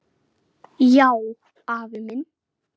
Já, afi minn.